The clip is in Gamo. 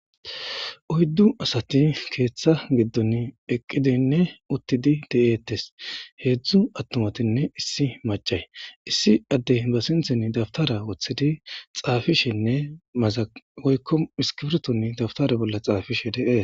uyddu asati keeththa giddon eqqidinne uttidi de'eettes heedzdzu attumatinne issi macay issi addey ba sinthen dabtara woththidi xaafishenne maza woykko iskifirton dabtare bolla xaafishe de'ees